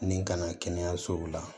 Ni kana kɛnɛyasow la